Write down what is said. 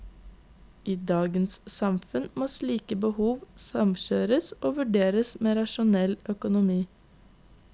I dagens samfunn må slike behov samkjøres og vurderes med rasjonell økonomi.